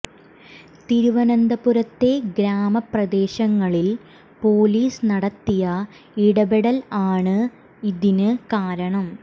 തിരുവനന്തപുരത്തെ ഗ്രാമ പ്രദേശങ്ങളിൽ പൊലീസ് നടത്തിയ ഇടപെടൽ ആണ് തിന് കാരണം